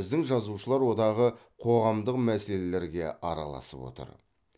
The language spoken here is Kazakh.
біздің жазушылар одағы қоғамдық мәселелерге араласып отыр